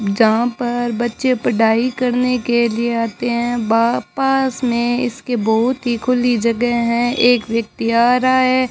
यहां पर बच्चे पढ़ाई करने के लिए आते हैं बा पास में इसके बहुत ही खुली जगह है एक व्यक्ति आ रहा है।